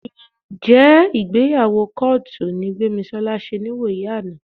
Ǹjẹ́ ìgbéyàwó kọ́ọ̀tù ni Gbémisọ́lá ṣe níwòyí àná?